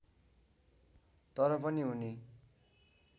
तर पनि उनी